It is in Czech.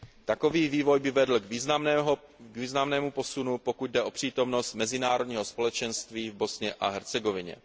Takový vývoj by vedl k významnému posunu, pokud jde o přítomnost mezinárodního společenství v Bosně a Hercegovině.